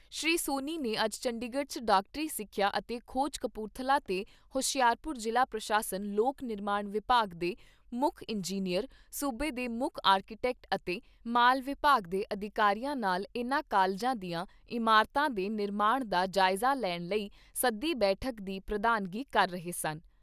ਸ੍ਰੀ ਸੋਨੀ ਨੇ ਅੱਜ ਚੰਡੀਗੜ੍ਹ 'ਚ ਡਾਕਟਰੀ ਸਿੱਖਿਆ ਅਤੇ ਖੋਜ ਕਪੂਰਥਲਾ ਤੇ ਹੁਸ਼ਿਆਰਪੁਰ ਜ਼ਿਲ੍ਹਾ ਪ੍ਰਸ਼ਾਸਨ ਲੋਕ ਨਿਰਮਾਣ ਵਿਭਾਗ ਦੇ ਮੁੱਖ ਇੰਜਨੀਅਰ, ਸੂਬੇ ਦੇ ਮੁੱਖ ਆਰਕੀਟੈਕਟ ਅਤੇ ਮਾਲ ਵਿਭਾਗ ਦੇ ਅਧਿਕਾਰੀਆਂ ਨਾਲ ਇਨ੍ਹਾਂ ਕਾਲਜਾਂ ਦੀਆਂ ਇਮਾਰਤਾਂ ਦੇ ਨਿਰਮਾਣ ਦਾ ਜਾਇਜ਼ਾ ਲੈਣ ਲਈ ਸੱਦੀ ਬੈਠਕ ਦੀ ਪ੍ਰਧਾਨਗੀ ਕਰ ਰਹੇ ਸਨ।